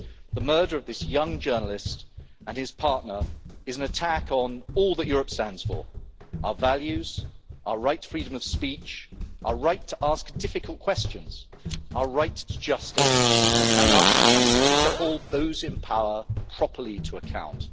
The murder of this young journalist and his partner is an attack on all that Europe stands for, our values, our right to freedom of speech, our right to ask difficult questions, our rights justice and our capacity to hold those in power properly to account.